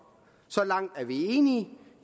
så langt er vi enige